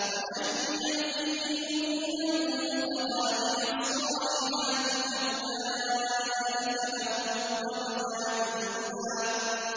وَمَن يَأْتِهِ مُؤْمِنًا قَدْ عَمِلَ الصَّالِحَاتِ فَأُولَٰئِكَ لَهُمُ الدَّرَجَاتُ الْعُلَىٰ